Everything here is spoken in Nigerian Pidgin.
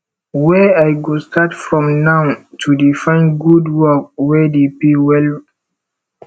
where i go start from now to dey find good work wey dey pay well